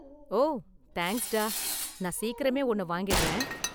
ஓ தேங்க்ஸ்டா, நான் சீக்கிரமே ஒன்னு வாங்கிடறேன்.